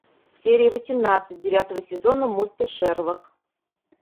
серия восемнадцать девятого сезона мульта шерлок